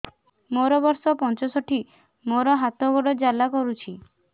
ମୋର ବର୍ଷ ପଞ୍ଚଷଠି ମୋର ହାତ ଗୋଡ଼ ଜାଲା କରୁଛି